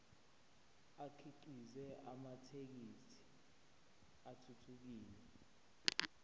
akhiqize amathekisthi athuthukile